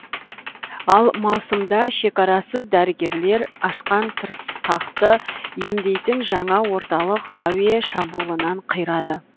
ал маусымда шекарасыз дәрігерлер ашқан тырысқақты емдейтін жаңа орталық әуе шабуылынан қирады